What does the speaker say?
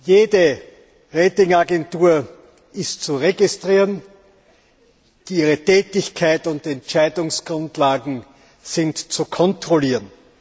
Jede Rating Agentur ist zu registrieren, ihre Tätigkeiten und Entscheidungsgrundlagen sind zu kontrollieren.